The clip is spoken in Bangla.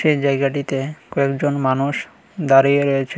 এই জায়গাটিতে কয়েকজন মানুষ দাঁড়িয়ে রয়েছে।